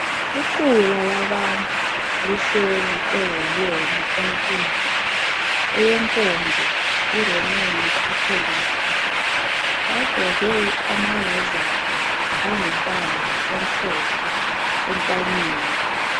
Iqula labantu lihleli ewolweni enkulu eyenkonzo iRomeni Khatholiki. Bagqoke amarozali angumbala omhlophe entanyeni.